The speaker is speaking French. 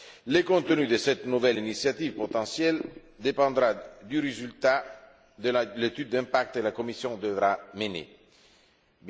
Le contenu de cette nouvelle initiative potentielle dépendra du résultat de l'étude d'impact que la Commission devra réaliser.